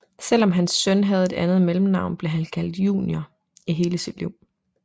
Selv om hans søn havde et andet mellemnavn blev han kaldt junior i hele sit liv